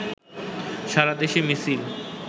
সারাদেশে মিছিল